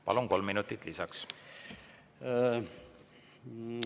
Palun, kolm minutit lisaks!